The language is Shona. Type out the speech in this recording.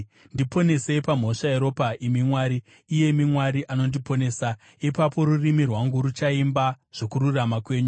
Ndiponesei pamhosva yeropa, imi Mwari, iyemi Mwari anondiponesa, ipapo rurimi rwangu ruchaimba zvokururama kwenyu.